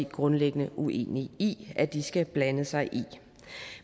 grundlæggende uenige i at de skal blande sig i